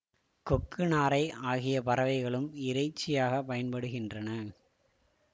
கொக்கு நாரை ஆகிய பறவைகளும் இறைச்சியாக பயன்படுகின்றன